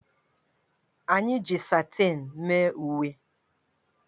Anyị ji satịn mee uwe